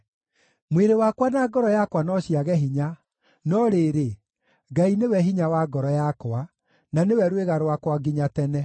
Mwĩrĩ wakwa na ngoro yakwa no ciage hinya, no rĩrĩ, Ngai nĩwe hinya wa ngoro yakwa, na nĩwe rwĩga rwakwa nginya tene.